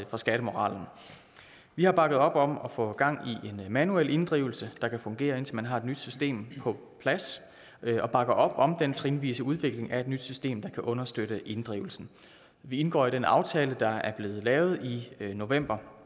for skattemoralen vi har bakket op om at få gang i en manuel inddrivelse der kan fungere indtil man har et nyt system på plads og bakker op om den trinvise udvikling af et nyt system der kan understøtte inddrivelsen vi indgår i den aftale der er blevet lavet i november